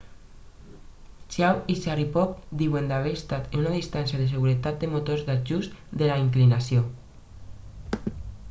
chiao i sharipov diuen haver estat a una distància de seguretat dels motors d'ajust de la inclinació